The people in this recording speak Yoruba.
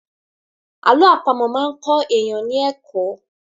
Àlọ́ àpamọ̀ máa kọ èèyàn ní ẹ̀kọ́.